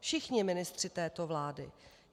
Všichni ministři této vlády.